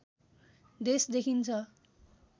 देश देखिन्छ